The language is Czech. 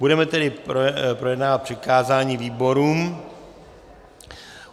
Budeme tedy projednávat přikázání výborům.